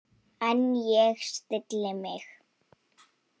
En ég stilli mig.